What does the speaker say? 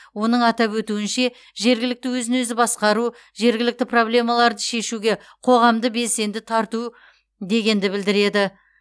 оның атап өтуінше жергілікті өзін өзі басқару жергілікті проблемаларды шешуге қоғамды белсенді тарту дегенді білдіреді